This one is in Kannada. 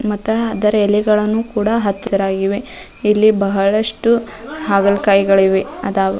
ಮತ್ತ್ ಅದರ ಎಲೆಗಳನ್ನು ಕೂಡ ಹಸಿರಾಗಿವೆ ಇಲ್ಲಿ ಬಹಳಷ್ಟು ಹಾಗಲಕಾಯಿಗಳಿವೆ ಅದಾ --